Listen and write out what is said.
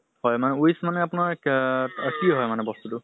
হয় মানে wish মানে আপোনাৰ কা কি হয় মানে বস্তুটো?